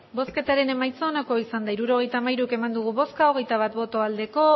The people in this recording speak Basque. hirurogeita hamairu eman dugu bozka hogeita bat bai